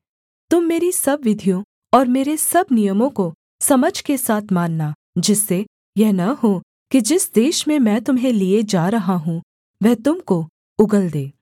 तुम मेरी सब विधियों और मेरे सब नियमों को समझ के साथ मानना जिससे यह न हो कि जिस देश में मैं तुम्हें लिये जा रहा हूँ वह तुम को उगल दे